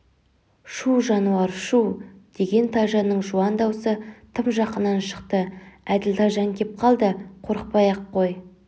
шүу жануар шүу деген тайжанның жуан даусы тым жақыннан шықты әділ тайжан кеп қалды қорықпай-ақ қой